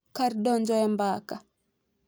Kar donjo e mbaka, .